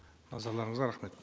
назарларыңызға рахмет